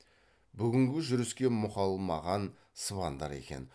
бүгінгі жүріске мұқалмаған сыбандар екен